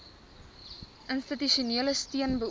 institusionele steun beoog